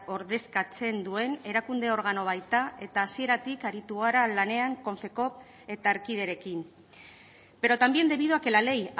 ordezkatzen duen erakunde organo baita eta hasieratik aritu gara lanean confecop eta erkiderekin pero también debido a que la ley